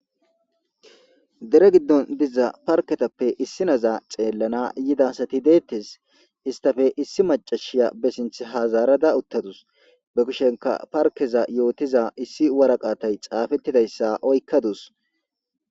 Dere giddon diza parketappe issi naza xeellana yidasati deettes istafe issi macashiya besinth hazarada uttadus be kushenka parkeza yootiza issi waraqatay xaafettidayssa oykkadus.